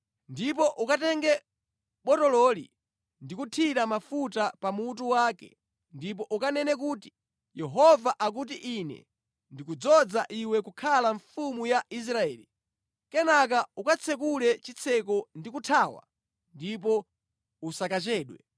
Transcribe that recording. Ndipo ukatenge botololi ndi kuthira mafuta pa mutu wake ndipo ukanene kuti, ‘Yehova akuti, Ine ndikudzoza iwe kukhala mfumu ya Israeli.’ Kenaka ukatsekule chitseko ndi kuthawa ndipo usakachedwe!”